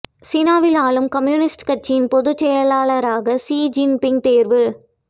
சீனாவில் ஆளும் கம்யூனிஸ்ட் கட்சியின் பொதுச் செயலராக சி ஜின்பிங் தேர்வு